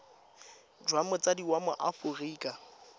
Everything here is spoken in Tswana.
jwa motsadi wa mo aforika